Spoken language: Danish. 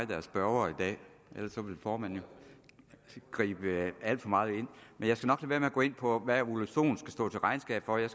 der er spørger i dag ellers ville formanden gribe alt for meget ind men jeg skal nok lade være med at gå ind på hvad ole sohn skal stå til regnskab for jeg